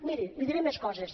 miri li diré més coses